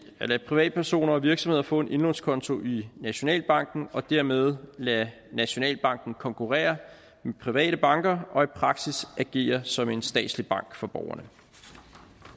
at lade privatpersoner og virksomheder få en indlånskonto i nationalbanken og dermed lade nationalbanken konkurrere med private banker og i praksis agere som en statslig bank for borgerne